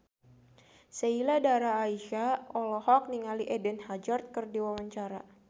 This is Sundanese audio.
Sheila Dara Aisha olohok ningali Eden Hazard keur diwawancara